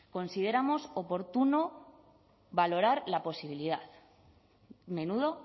consideramos oportuno valorar la posibilidad menudo